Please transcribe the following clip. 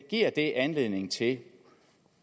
det anledning til